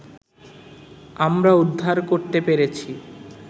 আমরা উদ্ধার করতে পেরেছি